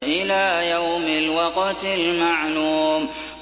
إِلَىٰ يَوْمِ الْوَقْتِ الْمَعْلُومِ